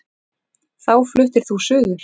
Þá fluttir þú suður.